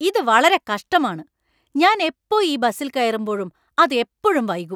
ഇത് വളരെ കഷ്ടമാണ് ! ഞാൻ എപ്പോ ഈ ബസിൽ കയറുമ്പോഴും അത് എപ്പോഴും വൈകും .